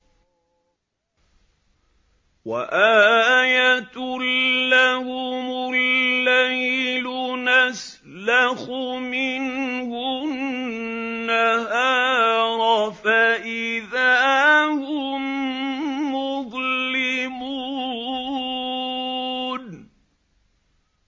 وَآيَةٌ لَّهُمُ اللَّيْلُ نَسْلَخُ مِنْهُ النَّهَارَ فَإِذَا هُم مُّظْلِمُونَ